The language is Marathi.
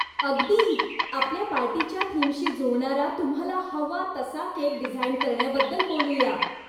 अगदी! आपल्या पार्टीच्या थीमशी जुळणारा तुम्हाला हवा तसा केक डिझाइन करण्याबद्दल बोलू या.